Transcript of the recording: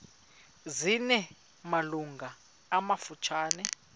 zina malungu amafutshane